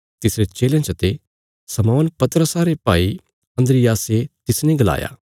तिसरे चेलयां चते शमौन पतरस रे भाई अन्द्रियासे तिसने गलाया